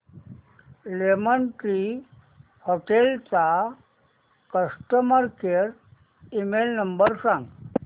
lemon Tree Hotels चा customer care email number सांगा